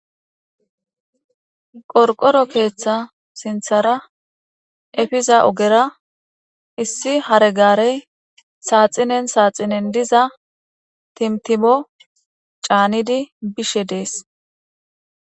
Qorqoro keeththa sinthara efiza ogera issi hare gaarey saaxinen saaxinen diza timtimo caanidi bishe dees.